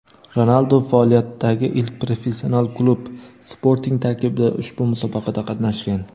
Ronaldu faoliyatidagi ilk professional klub "Sporting" tarkibida ushbu musobaqada qatnashgan.